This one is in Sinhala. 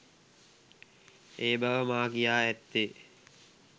ඒබව මා කියා ඇත්තේ